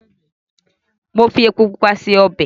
Mo fi epo pupa se obẹ̀.